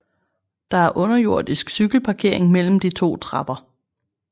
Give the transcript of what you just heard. Der er underjordisk cykelparkering mellem de to trapper